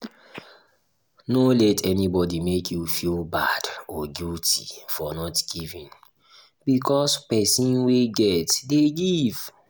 no let anybody make you feel bad or guilty for not giving because person wey get dey give